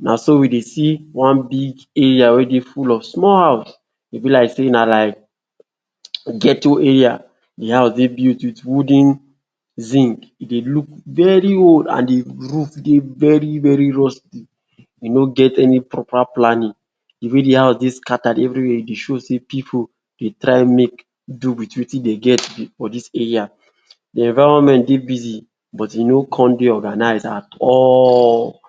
Na so we dey see one big area wey dey full of small house, e be like sey na like ghetto area. De house dey built with wooden zinc, e dey look very old, and de roof dey very very rusty. E no get any proper planning, de way de house dey scattered everywhere. E dey show sey pipu dey try make do with wetin dey get for dis area. De environment dey busy, but e no come dey organize at all.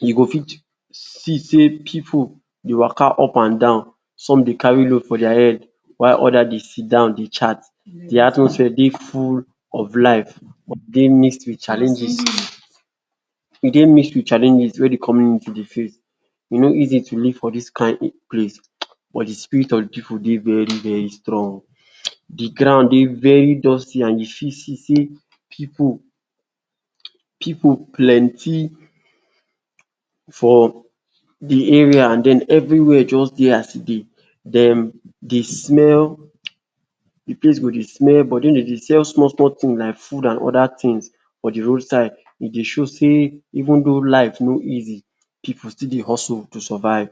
You go fit see sey pipu dey waka up and down, some dey carry load for der head, while odas dey sit down dey chat. De atmosphere dey full of life, e dey mix with challenges e dey mix with challenges wey De community dey face e no easy to live for dis kind place, but de spirit of de pipu dey very very strong. [um]De ground dey very dusty, and you fit see sey pipu pipu plenty for de area and den Everywhere just dey as if dem dey smell, the place go de smell but den dem dey sell small small thing like food and oda thing for de roadside. E dey show sey even though life no easy, pipu still dey hustle to survive.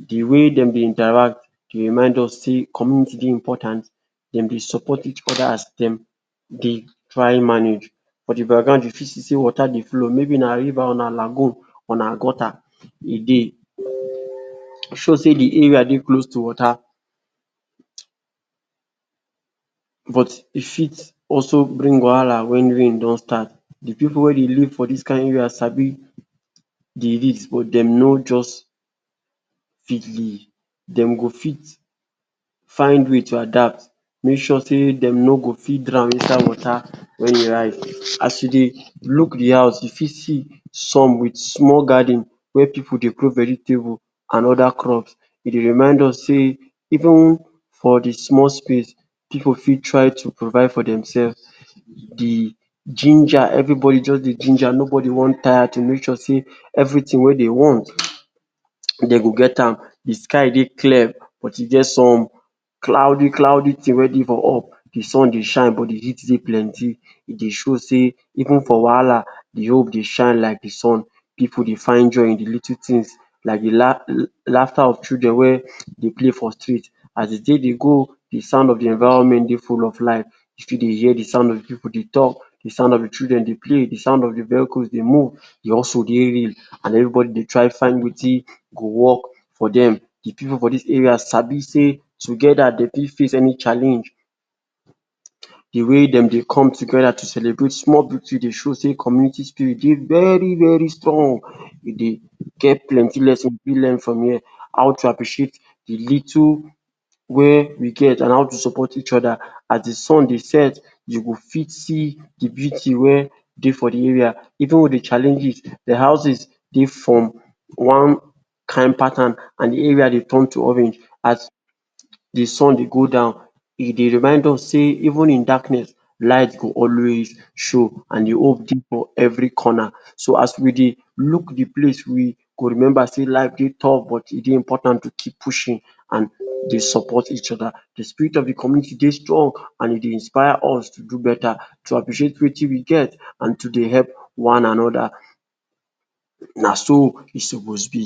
De way dem dey interact, e remind us sey community dey important. Dem dey support each oda as dem dey try manage. For de background, you fit see water dey flow, maybe na river, na lagoon, or na gutter. E dey show sey de area dey close to water, but e fit also bring wahala when rain don start de pipu wey dey live for dis kind area sabi dey risk, but dem no just. Dem go fit find way to adapt, make sure sey dem no go fit drown inside water when e rise. As e dey look de house, you fit see some with small garden where pipu dey put vegetable and oda crops. E dey remind us sey even for de small space, pipu fit try to provide for themself. De ginger Everybody just dey ginger, nobody want tire to make sure sey everything wey dey want dem go get am. De sky dey clear, but e get some cloudy cloudy thing wey dey for up. De sun dey shine, but de heat dey plenty. E dey show sey even for wahala, de hope dey shine like de sun. Pipu dey find joy in de little thing like de laughter of children wey dey play for street. As de day dey go, de sound of de environment dey full of life. You still dey hear de sound of pipu dey talk, de sound of children dey play, de sound of vehicles dey move, de hustle dey real and everybody dey try find wetin go work for dem. De pipu for dis area sabi sey together dey fit face any challenge. De way dem dey come together to celebrate small beauty, e dey show sey community spirit dey very very strong. E dey get plenty lesson we fit learn from here, how to appreciate de little wey we get, and how to support each oda. As de sun dey set, you go fit see de beauty wey dey for de area, even with de challenges, De houses dey form one kind pattern, and de area dey turn to orange as de sun dey go down. E dey remind us sey even in darkness, light go always show, and de hope dey for every corner. So, as we dey look de place, we go remember sey life dey tough, but e dey important to keep pushing and dey support each oda. De spirit of de community dey strong, and e dey inspire us to do better, to appreciate wetin we get, and to dey help one anoda naso e suppose be